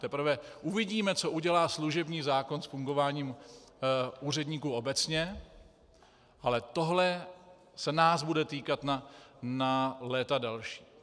Teprve uvidíme, co udělá služební zákon s fungováním úředníků obecně, ale tohle se nás bude týkat na léta další.